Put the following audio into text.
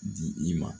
Di i ma